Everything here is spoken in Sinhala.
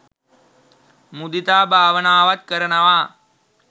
මුදිතා භාවනාවත් කරනවා.